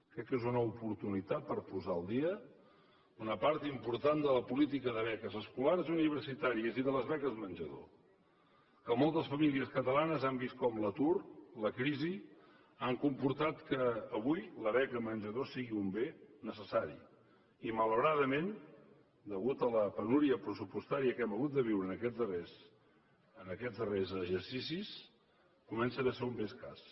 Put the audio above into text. crec que és una oportunitat per posar al dia una part important de la política de beques escolars i universitàries i de les beques menjador que moltes famílies catalanes han vist com l’atur la crisi han comportat que avui la beca menjador sigui un bé necessari i malauradament a causa de la penúria pressupostària que hem hagut de viure en aquests darrers exercicis comença a ser un bé escàs